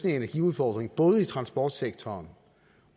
energiudfordringen både i transportsektoren